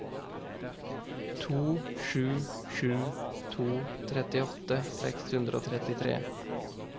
to sju sju to trettiåtte seks hundre og trettitre